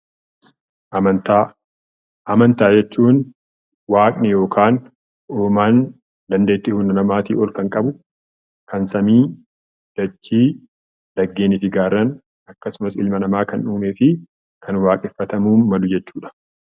Amantaa. Amantaa jechuun Waaqni yookiin uumaan dandeetti hunda namaatii ol kan qabu kan samii, dachii, laggeenii fi gaarreen akkasummas ilma namaa kan uumee fi kan waaqeffatamuuf malu jechuudha.